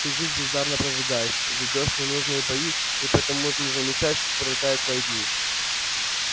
ты жизнь бездарно прожигаешь ведёшь ненужные бои и потому не замечаешь как пролетают твои дни